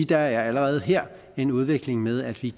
der allerede her er en udvikling med at vi